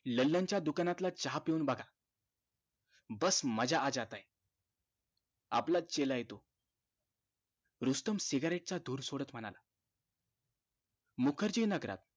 ललन च्या दुकानातला चहा पिऊन बघा बस मजा आ जाता है आपलाच चेला आहे तो रुस्तम cigarette च दूर सोडत म्हणाला मुखर्जी नगरात